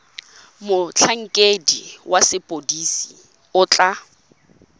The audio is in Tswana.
motlhankedi wa sepodisi o tla